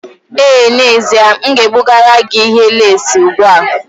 Ee n'ezie, m ga-ebugara gị ihe leesị ugbu a.